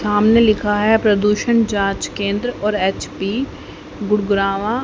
सामने लिखा है प्रदूषण जांच केन्द्र और एच_पी गुड़गांवा।